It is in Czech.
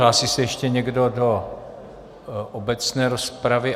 Hlásí se ještě někdo do obecné rozpravy?